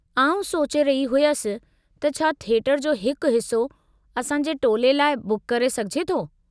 आउं सोचे रही हुयसि त छा थिएटर जो हिकु हिस्सो असां जे टोले लाइ बुक करे सघिजे थो?